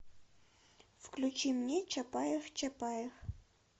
включи мне чапаев чапаев